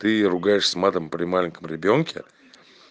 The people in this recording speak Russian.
ты ругаешься матом при маленьком ребёнке